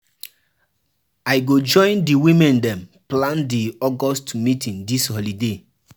I go join di women dem plan di August meeting dis holiday.